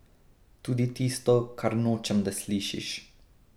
Tudi tisto, kar nočem, da slišiš.